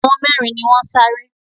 Àwọn mẹ́rin ni wọ́n sáré